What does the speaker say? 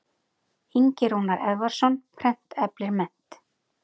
Ingi Rúnar Eðvarðsson, Prent eflir mennt.